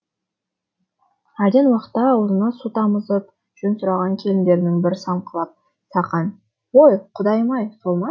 әлден уақытта аузына су тамызып жөн сұраған келіндерінің бірі саңқылап сақан ой құдайым ай сол ма